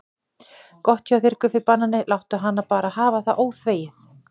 Gott hjá þér Guffi banani, láttu hana bara hafa það óþvegið.